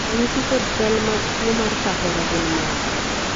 ranyisi kod chal mag tuo mar kahera gin mage?